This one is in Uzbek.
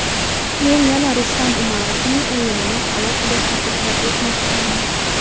Men yana Rustam Umarovning o‘yinini alohida ta’kidlab o‘tmoqchiman.